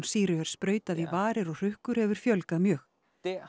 sýru er sprautað í varir og hrukkur hefur fjölgað mjög